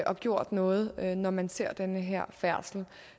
og gjort noget når man ser den her færdsel